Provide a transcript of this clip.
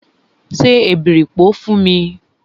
Se èbèripò fún mi!